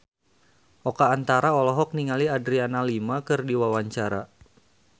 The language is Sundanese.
Oka Antara olohok ningali Adriana Lima keur diwawancara